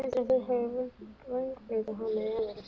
Heldurðu að þeir hafi vængbrotið hana í alvöru?